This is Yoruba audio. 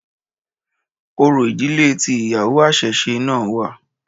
Orò ìdílé tí ìyàwó àṣẹ̀ṣẹ̀ náà wà.